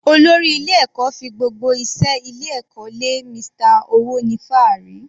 Olórí ilé ẹ̀kọ́ fi gbogbo iṣẹ́ ilé ẹ̀kọ́ lé Mr. Owonifaari.